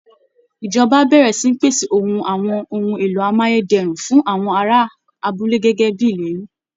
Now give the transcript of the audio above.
Ìjọba á bẹ̀rẹ̀ sí ní pèsè ohun àwọn ohun èlò amáyé dẹrùn fún àwọn ará abúlé gẹ́gẹ́ bí ìlérí